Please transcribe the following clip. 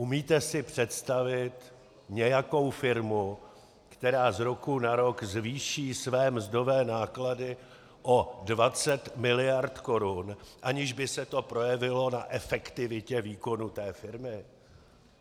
Umíte si představit nějakou firmu, která z roku na rok zvýší své mzdové náklady o 20 mld. korun, aniž by se to projevilo na efektivitě výkonu té firmy?